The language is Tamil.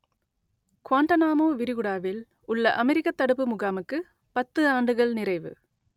குவாண்டானாமோ விரிகுடாவில் உள்ள அமெரிக்கத் தடுப்பு முகாமுக்கு பத்து ஆண்டுகள் நிறைவு